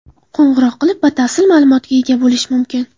Qo‘ng‘iroq qilib, batafsil ma’lumotga ega bo‘lish mumkin.